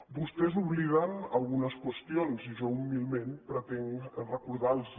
vostè obliden algunes qüestions i jo humilment pretenc recordar les hi